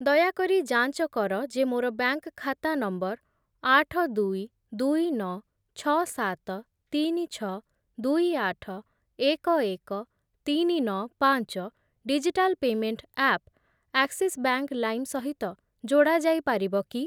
ଦୟାକରି ଯାଞ୍ଚ କର ଯେ ମୋର ବ୍ୟାଙ୍କ୍‌‌ ଖାତା ନମ୍ବର୍ ଆଠ, ଦୁଇ, ଦୁଇ, ନଅ, ଛଅ, ସାତ, ତିନି, ଛଅ, ଦୁଇ, ଆଠ, ଏକ, ଏକ, ତିନି, ନଅ, ପାଞ୍ଚ digital payment app Axis Bank Lime ସହିତ ଯୋଡ଼ା ଯାଇପାରିବ କି?